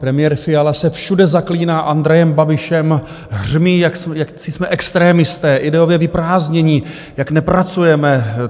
Premiér Fiala se všude zaklíná Andrejem Babišem, hřmí, jací jsme extremisté, ideově vyprázdnění, jak nepracujeme.